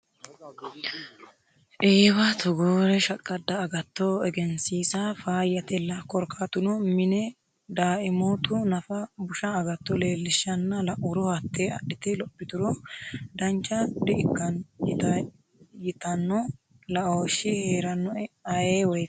Eewa togoore shaqqada agatto egensiisa faayyatella korkaatuno mine daaimotu nafa busha agatto leelishanna lauro hate adhite lophituro dancha di'ikkano ytano laooshi heeranoe ayee woyteno.